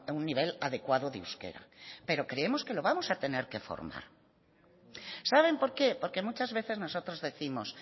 un nivel adecuado de euskera pero creemos que lo vamos a tener que formar saben por qué porque muchas veces nosotros décimos